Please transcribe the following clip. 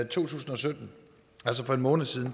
to tusind og sytten altså for en måned siden